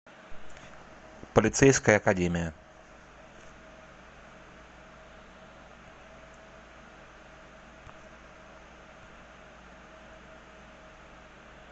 полицейская академия